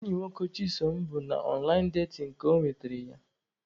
Enyi nwoke Chisom bụ na ọnlaịn datin ka ọ nwetara ya.